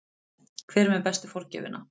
Hver er með bestu forgjöfina?